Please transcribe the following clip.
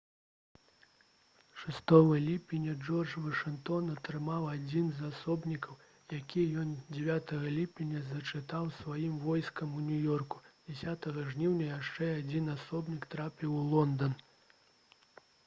6 ліпеня джордж вашынгтон атрымаў адзін з асобнікаў які ён 9 ліпеня зачытаў сваім войскам у нью-ёрку 10 жніўня яшчэ адзін асобнік трапіў у лондан